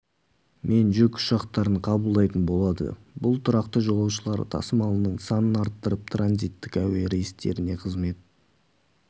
мен жүк ұшақтарын қабылдайтын болады бұл тұрақты жолаушылар тасымалының санын арттырып транизиттік әуе рейстеріне қызмет